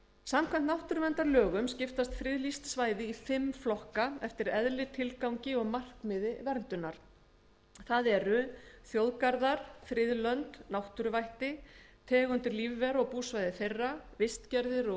samkvæmt náttúruverndarlögum skiptast friðlýst svæði í fimm flokka eftir eðli tilgangi og markmiði verndunar það eru þjóðgarðar friðlönd náttúruvætti tegundir lífvera og búsvæði þeirra vistgerðir og